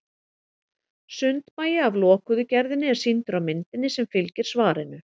Sundmagi af lokuðu gerðinni er sýndur á myndinni sem fylgir svarinu.